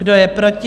Kdo je proti?